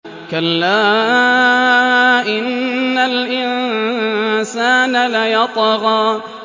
كَلَّا إِنَّ الْإِنسَانَ لَيَطْغَىٰ